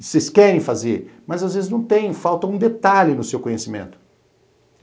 Vocês querem fazer, mas às vezes não tem, falta um detalhe no seu conhecimento.